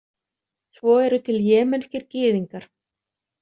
Svo eru til jemenskir Gyðingar.